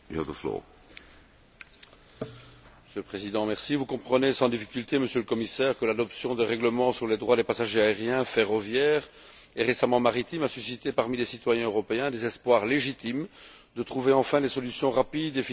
Vous comprenez sans difficulté, Monsieur le Commissaire, que l'adoption de règlements sur les droits des passagers aériens, ferroviaires et, récemment, maritimes a suscité parmi les citoyens européens des espoirs légitimes de trouver enfin des solutions rapides et financières aux retards, annulations et autres graves inconvénients subis.